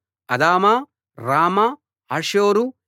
Adama రామా హాసోరు